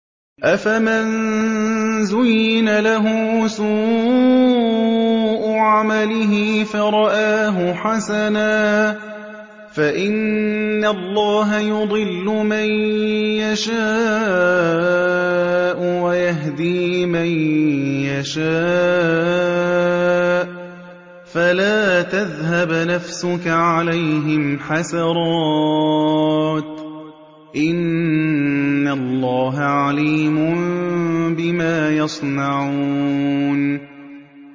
أَفَمَن زُيِّنَ لَهُ سُوءُ عَمَلِهِ فَرَآهُ حَسَنًا ۖ فَإِنَّ اللَّهَ يُضِلُّ مَن يَشَاءُ وَيَهْدِي مَن يَشَاءُ ۖ فَلَا تَذْهَبْ نَفْسُكَ عَلَيْهِمْ حَسَرَاتٍ ۚ إِنَّ اللَّهَ عَلِيمٌ بِمَا يَصْنَعُونَ